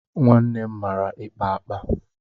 Nwannem mara ikpa akpa.